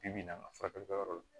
Bi bi in na an ka furakɛli kɛyɔrɔ la